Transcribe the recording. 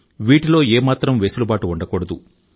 వీటిలో ఏమాత్రం వెసులుబాటు ఉండకూడదు